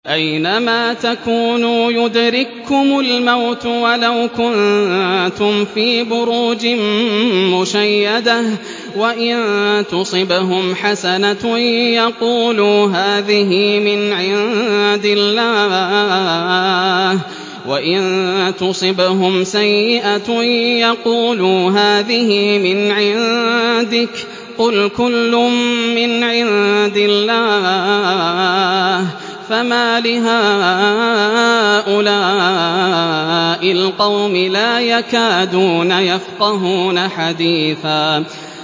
أَيْنَمَا تَكُونُوا يُدْرِككُّمُ الْمَوْتُ وَلَوْ كُنتُمْ فِي بُرُوجٍ مُّشَيَّدَةٍ ۗ وَإِن تُصِبْهُمْ حَسَنَةٌ يَقُولُوا هَٰذِهِ مِنْ عِندِ اللَّهِ ۖ وَإِن تُصِبْهُمْ سَيِّئَةٌ يَقُولُوا هَٰذِهِ مِنْ عِندِكَ ۚ قُلْ كُلٌّ مِّنْ عِندِ اللَّهِ ۖ فَمَالِ هَٰؤُلَاءِ الْقَوْمِ لَا يَكَادُونَ يَفْقَهُونَ حَدِيثًا